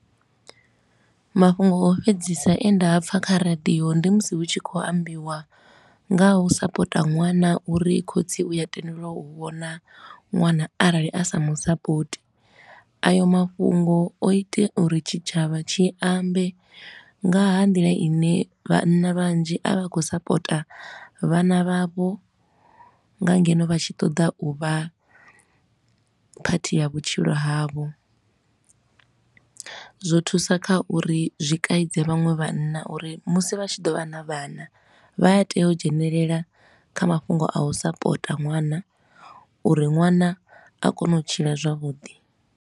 Mafhungo a u fhedzisa e nda apfa kha radio, ndi musi hu tshi khou ambiwa nga ha u sapota ṅwana uri khotsi u ya tendelwa u vhona ṅwana arali a sa mu sapoti, ayo mafhungo o ita uri tshitshavha tshi ambe nga ha nḓila i ne vhanna vhanzhi a vha khou sapota vhana vhavho nga ngeno vha tshi ṱoḓa u vha part ya vhutshilo havho. Zwo thusa kha uri zwi kaidze vhaṅwe vhanna uri musi vha tshi ḓo vha na vhana, vha a tea u dzhenelela kha mafhungo a u sapota ṅwana uri ṅwana a kone u tshila zwavhuḓi.